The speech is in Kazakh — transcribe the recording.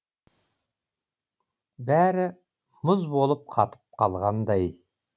бәрі мұз болып қатып қалғандай